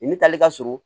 I ni taale ka surun